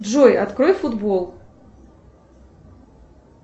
джой открой футбол